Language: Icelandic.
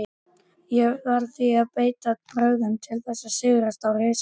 Því varð að beita brögðum til að sigrast á risanum.